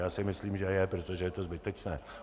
Já si myslím, že je, protože je to zbytečné.